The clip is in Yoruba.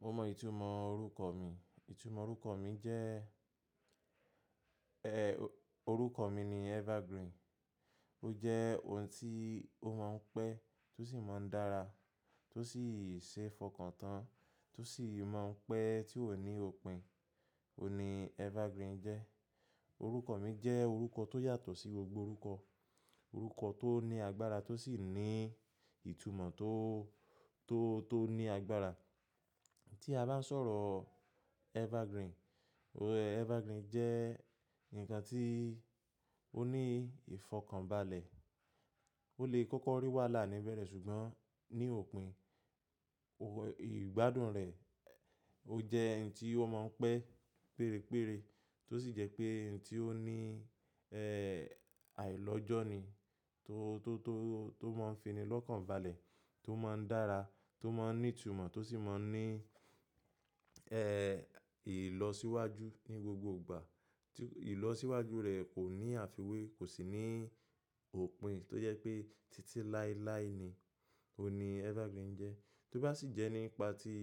Mo mọ ìtumọ̀ orúkọ mi. Ìtumọ̀ orúkọ mi jẹ́, ẹ́, orúkọ mi ni Evergreen. Ó jẹ́ ohun tí ó máa ń pẹ́ tó sì máa ń dára, tó sì ṣe é fọkàn tán, tó sì máa ń pẹ́ tí ó ò ní òpin. Ó ni Evergreen jẹ́. Orúkọ mi jẹ́ orúkọ tó yàtọ̀ sí gbogbo orúkọ. Orúkọ tó ní agbára tó sì ní ìtumọ̀ tó, tó, tó ní agbára. Tí a bá ń sọ̀rọ̀ Evergreen, Evergreen jẹ́ ǹkan tí ó ní ìfọkànbalẹ̀. Ó lè kọ́kọ́ rí wàhálà níbẹ̀rẹ̀ ṣùgbọ́n ní òpin, ìgbádùn rẹ̀ ó jẹ́ ǹkan tí ó máa ń pẹ́ gbéré gbéré tó sì jẹ́ pé ǹkan tí ó ní, ẹ́, àìlọ́jọ́ ni. Tó, tó, tó, tó máa ń fi ni lọ́kàn balẹ̀, tó máa ń dára, tó máa ń ní ìtumọ̀ tó sì máa ń ní, ẹ́, ìlọsíwájú ní gbogbo ìgbà. Tí ìlọsíwájú rẹ̀ kò ní àfiwé, kò sì ní òpin tó jẹ́ pé títí láéláé ni. Ó ni Evergreen jẹ́. Tó bá sì jẹ́ nípa tí